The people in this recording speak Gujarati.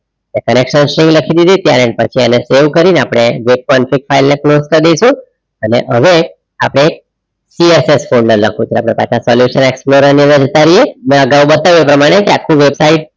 લખી દીધી ત્યાર પછી અને સવે કરી ને અપડે જે પંચક ફાઇલ ને close કરી ડાઈસુ અને અવે આપડે CSS ફોલ્ડર explorer ને અને અગાવ બતાયુ એ પ્રમાણે આખું વેબસાઇટ